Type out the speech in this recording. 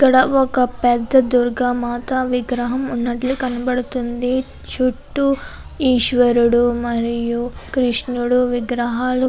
ఒక పెద్ద దుర్గ మాత విగ్రహం ఉన్నట్లు కనపడుతుంది చుట్టూ ఈశ్వరుడు మరియు కృష్ణుడు విగ్రహాలు --